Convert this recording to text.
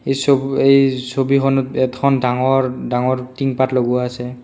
এই ছবু এই ছবিখনত এতখন ডাঙৰ ডাঙৰ টিংপাত লগোৱা আছে।